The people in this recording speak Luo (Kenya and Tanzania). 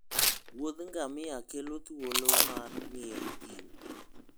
wuodh ngamia kelo thuolo mar ng'iyo thim.